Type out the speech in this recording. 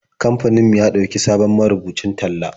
Kamfanin mu ya ɗauki sabon marubucin talla.